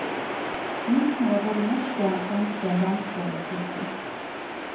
Myntene var både norske, svenske, danske og tyske.